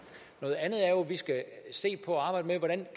og at vi skal se på og arbejde med hvordan